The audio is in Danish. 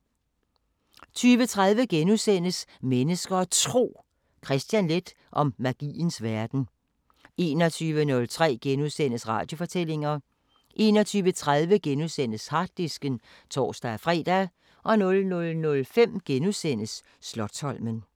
20:30: Mennesker og Tro: Kristian Leth om magiens verden * 21:03: Radiofortællinger * 21:30: Harddisken *(tor-fre) 00:05: Slotsholmen *